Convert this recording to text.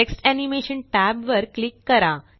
text animation tab वर click करा